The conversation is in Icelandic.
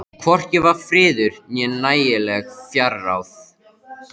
Hvorki var friður né nægileg fjárráð.